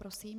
Prosím.